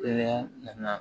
Kɛnɛya nana